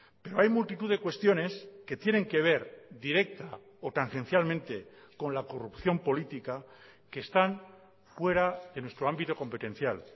pero hay multitud de cuestiones que tienen que ver directa o tangencialmente con la corrupción política que están fuera de nuestro ámbito competencial